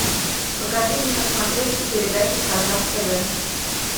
покажи мне на смотрешке передачу казах тв